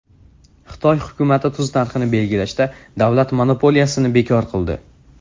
Xitoy hukumati tuz narxini belgilashda davlat monopoliyasini bekor qildi.